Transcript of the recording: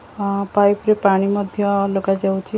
Pipe ରେ ପାଣି ମଧ୍ୟ ଲଗା ଯାଉଛି ।